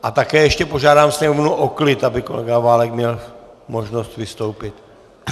A také ještě požádám sněmovnu o klid, aby kolega Válek měl možnost vystoupit.